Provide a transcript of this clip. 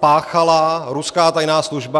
páchala ruská tajná služba.